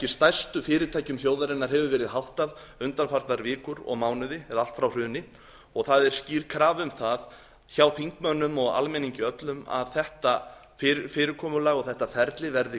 stærstu fyrirtækjum þjóðarinnar hefur verið háttað undanfarnar vikur og mánuði eða allt frá hruni og það er skýr krafa um það hjá þingmönnum og almenningi öllum að þetta fyrirkomulag og þetta ferli verði